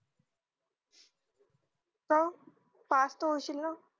का pass त होशील ना